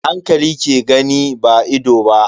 Hankali ke gani ba ido ba.